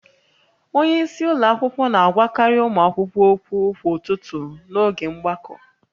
Onye isi ụlọ akwụkwọ na-agwakarị ụmụ akwụkwọ okwu kwa ụtụtụ n'oge mgbakọ